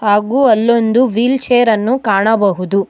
ಹಾಗು ಅಲ್ಲೊಂದು ವೀಲ್ ಚೇರನ್ನು ಕಾಣಬಹುದು.